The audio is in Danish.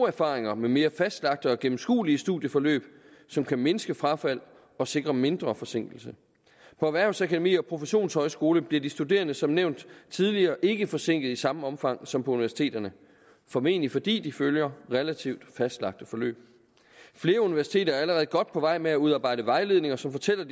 erfaringer med mere fastlagte og gennemskuelige studieforløb som kan mindske frafald og sikre mindre forsinkelse på erhvervsakademier og professionshøjskoler bliver de studerende som nævnt tidligere ikke forsinket i samme omfang som på universiteterne formentlig fordi de følger relativt fastlagte forløb flere universiteter er allerede godt på vej med at udarbejde vejledninger som fortæller